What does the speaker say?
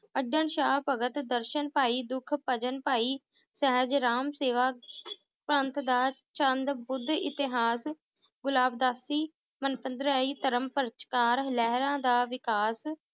ਦਰਸ਼ਨ ਭਾਈ ਦੁਖਭਜਨ ਭਾਈ ਸਹਿਜ ਰਾਮ ਸੇਵਾ ਪੰਥ ਦਾ ਚੰਦ ਬੁੱਧ ਇਤਿਹਾਸ ਗੁਲਾਬਦਾਸੀ ਧਰਮਪ੍ਰਚਕਾਰ ਲਹਿਰਾਂ ਦਾ ਵਿਕਾਸ